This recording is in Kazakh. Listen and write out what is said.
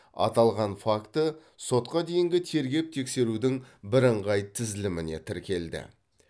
аталған факті сотқа дейінгі тергеп тексерудің бірыңғай тізіліміне тіркелді